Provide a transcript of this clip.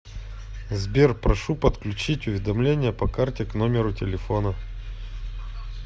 сбер прошу подключить уведомление по карте к номеру телефона